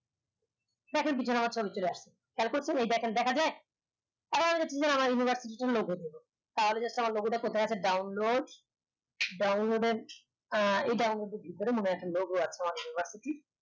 আমার ছবি চলে আসলো তার পর দেখা যায় আমার logo টা কোথায় আছে download download এর আহ এই download ভিতরে মনে হয় logo আছে